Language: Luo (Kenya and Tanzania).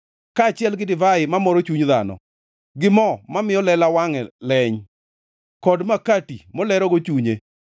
kaachiel gi divai mamoro chuny dhano, gi mo mamiyo lela wangʼe leny, kod makati molerogo chunye.